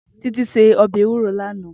Titi sé óbè éwúró làná